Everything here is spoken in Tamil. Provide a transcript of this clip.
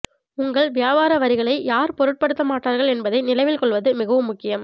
உங்கள் வியாபார வரிகளை யார் பொருட்படுத்தமாட்டார்கள் என்பதை நினைவில் கொள்வது மிகவும் முக்கியம்